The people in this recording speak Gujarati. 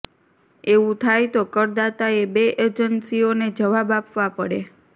એવું થાય તો કરદાતાએ બે એજન્સીઓને જવાબ આપવા પડે